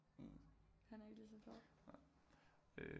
Han er ikke ligeså fed